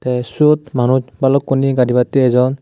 tey siyot manus balukkuney gadibatey ejon.